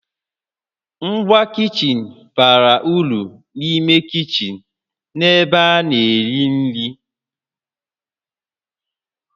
Ngwa kichin bara uru n'ime kichin na n'ebe a na-eri nri